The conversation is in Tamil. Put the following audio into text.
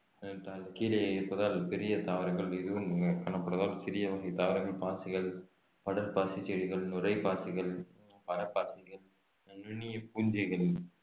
அஹ் கீழே இருப்பதால் பெரிய தாவரங்கள் எதுவும் காணப்படுவதால் சிறிய வகை தாவரங்கள் பாசிகள் படர்பாசி செடிகள் நுரைப்பாசிகள் மரப்பாசிகள் நுண்ணிய பூஞ்சைகளில்